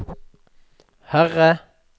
Herre